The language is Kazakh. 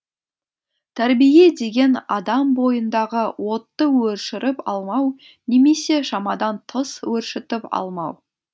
тәрбие деген адам бойындағы отты өршіріп алмау немесе шамадан тыс өршітіп алмау